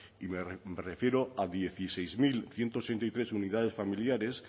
y me refiero a dieciséis mil ciento ochenta y tres unidades familiares